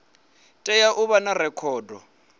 tea u vha na rekhodo